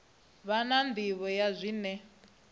vha na nḓivho ya zwine